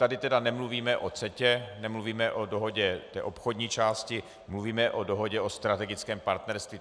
Tady tedy nemluvíme o CETA, nemluvíme o dohodě, té obchodní části, mluvíme o dohodě o strategickém partnerství.